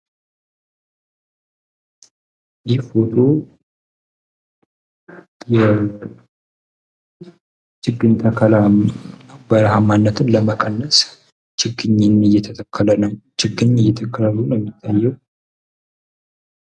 ይህ ፎቶ የችግኝ ተከላ፣ በረሃማነትን ለመቀነስ የችግኝ ተከላ ነው የሚታየው።